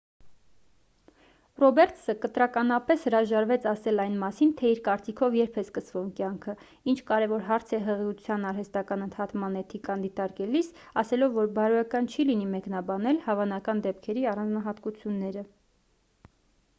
ռոբերտսը կտրականապես հրաժարվեց ասել այն մասին թե իր կարծիքով երբ է սկսվում կյանքը ինչը կարևոր հարց է հղիության արհեստական ընդհատման էթիկան դիտարկելիս ` ասելով որ բարոյական չի լինի մեկնաբանել հավանական դեպքերի առանձնահատկությունները: